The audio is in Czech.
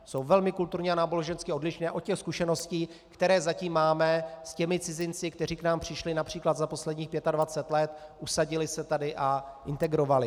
Jsou velmi kulturně a nábožensky odlišné od těch zkušeností, které zatím máme s těmi cizinci, kteří k nám přišli například za posledních 25 let, usadili se tady a integrovali.